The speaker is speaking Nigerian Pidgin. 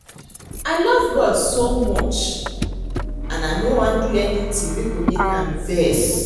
I love God so much and I no want do anything wey go make am vex